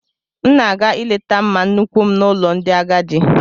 M na-aga ileta mma nnuku m n'ụlọ ndị agadi